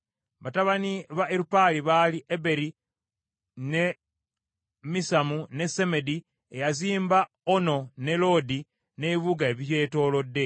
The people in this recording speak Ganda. Batabani ba Erupaali baali Eberi, ne Misamu, ne Semedi, eyazimba Ono ne Loodi n’ebibuga ebibyetoolodde,